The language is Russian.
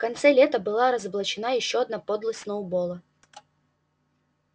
в конце лета была разоблачена ещё одна подлость сноуболла